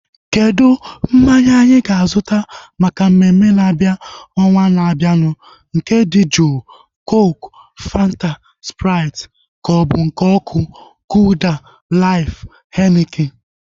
Kedụ mmanya anyị ga-azuta maka mmemme na-abịa ọnwaa na-abianu? Nke dị juu (cooku, Fanta, sprait) kaobu nke ọkụ (golda, laif, henikin)